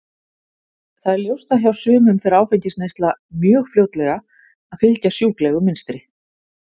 Það er ljóst að hjá sumum fer áfengisneysla mjög fljótlega að fylgja sjúklegu mynstri.